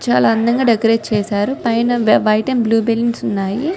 చాల అందంగా డెకరేట్ చేసారు పైన వైట్ అండ్ బ్లూ బెలూన్స్ ఉన్నాయ్ .